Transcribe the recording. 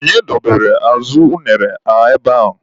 Onye dobere azụ unere a ebea?